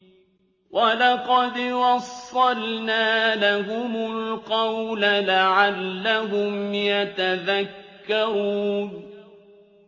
۞ وَلَقَدْ وَصَّلْنَا لَهُمُ الْقَوْلَ لَعَلَّهُمْ يَتَذَكَّرُونَ